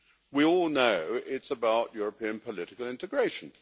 We all know it is about European political integration.